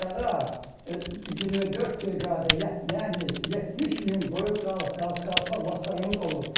Dağa 24 briqada, yəni 70 min qoyun qalıq-qalıq qalxa vaxtlarımız olub.